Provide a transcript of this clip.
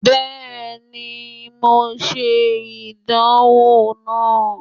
Bẹẹni, Mo ṣe idanwo naa